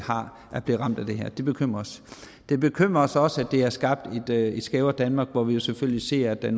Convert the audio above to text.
er blevet ramt af det her det bekymrer os det bekymrer os også at det har skabt et skævere danmark hvor vi jo selvfølgelig ser at der